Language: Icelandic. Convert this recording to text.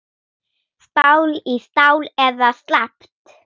Stál í stál eða slappt?